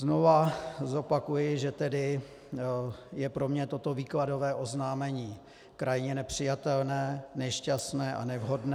Znovu zopakuji, že tedy je pro mě toto výkladové oznámení krajně nepřijatelné, nešťastné a nevhodné.